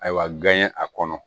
Ayiwa gan ye a kɔnɔ